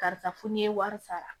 Karisa fo n'i ye wari sara